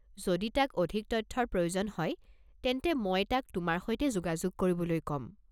যদি তাক অধিক তথ্যৰ প্ৰয়োজন হয় তেন্তে মই তাক তোমাৰ সৈতে যোগাযোগ কৰিবলৈ কম।